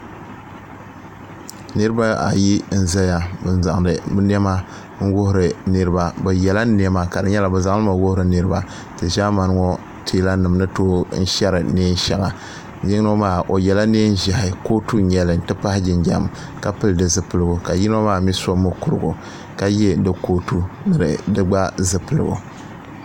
niriba ayi n-ʒeya n-zaŋdi bɛ niɛma n-wuhiri niriba bɛ yela niɛma ka di nyɛla bɛ zaŋ li mi n-wuhiri niriba ti ʒaamani ŋɔ teelanima ni tooi n-sheri neen'shɛŋa yino maa o yela neen'ʒiɛhi kootu n-nyɛ li n ti pahi jinjɛm ka pili di zipiligu ka yino maa mii so mukurugu ka ye di kootu ni di gba zipiligu